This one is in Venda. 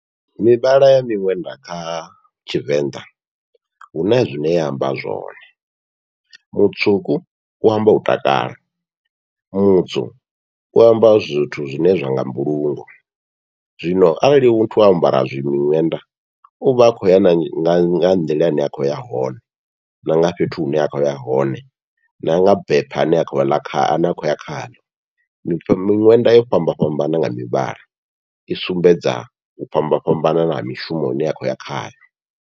Mivhala ya miṅwenda kha tshivenḓa huna zwine ya amba zwone, mutswuku u amba u takala, mutswu u amba zwithu zwine zwa nga mbulungo, zwino arali muthu o ambara zwi miṅwenda uvha a khou ya na nga nḓila ine a khou ya hone na nga fhethu hune a khou ya hone, na nga bepha ane a kho ane a khou ya khaḽo miṅwenda yo fhambafhambana nga mivhala, i sumbedza u fhambafhambana ha mishumo ine a khou ya khayo.